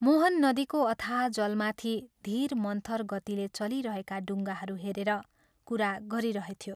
मोहन नदीको अथाह जलमाथि धीर मन्थर गतिले चलिरहेका डुंगाहरू हेरेर कुरा गरिरहेथ्यो।